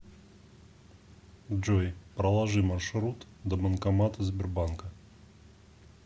джой проложи маршрут до банкомата сбербанка